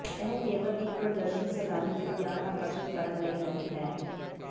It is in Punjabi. ਇਹ ਕੇਵਲ ਇੱਕ ਪ੍ਰਦਰਸ਼ਨ ਸੈਲਾਨੀ ਦੇ ਧਿਆਨ ਆਕਰਸ਼ਿਤ ਕਰਨ ਲਈ ਨਹੀ ਹੈ